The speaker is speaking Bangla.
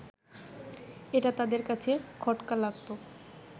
এটা তাদের কাছে খটকা লাগত